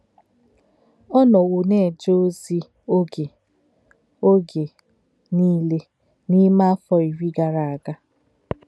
Ọ̀ nọ̀wò̄ nā-èjé̄ òzì̄ ògé̄ ògé̄ níle n’ímè̄ áfọ̀ írí̄ gàrà ágà̄.